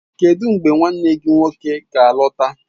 Kedu mgbe nwanne gị nwoke ga-alọta?